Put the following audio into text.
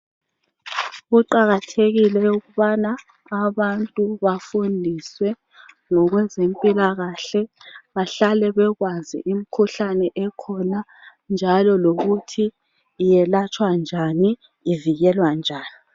Kuqakathekile ukubana abantu bafundiswe ngokwezempilakahle bahlale bekwazi imikhuhlane ekhona njalo lokuthi yelatshwa njani ivikelwa njani